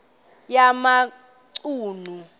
yamachunu